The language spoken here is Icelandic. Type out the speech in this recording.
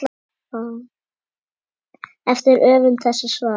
eftir höfund þessa svars.